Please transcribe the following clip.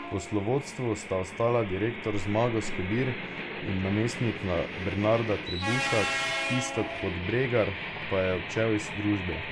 V poslovodstvu sta ostala direktor Zmago Skobir in namestnica Bernarda Trebušak, Iztok Podbregar pa je odšel iz družbe.